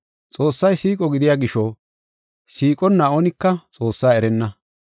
Xoossay siiqo gidiya gisho siiqonna oonika Xoossaa erenna.